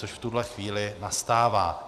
Což v tuhle chvíli nastává.